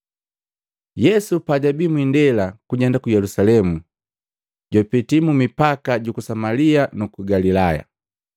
Yesu pajabii mwindela kujenda ku Yelusalemu jwapetii mu mipaka juku Samalia nuku Galilaya.